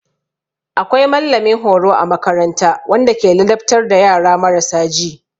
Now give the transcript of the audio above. Akwai mallamin horo a makaranta wanda ke ladabtar da yara marasa ji.